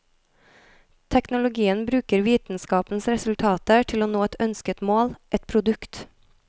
Teknologien bruker vitenskapens resultater til å nå et ønsket mål, et produkt.